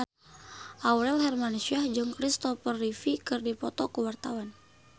Aurel Hermansyah jeung Kristopher Reeve keur dipoto ku wartawan